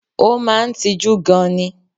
O máa n tijú gan ni